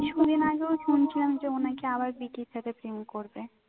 কিছুদিন আগেও শুনছিলাম যে ও নাকি আবার সাথে প্রেম করবে